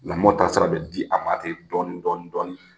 Lamɔ taasira bɛ di a ma tɛ dɔɔnin dɔɔnin dɔɔnin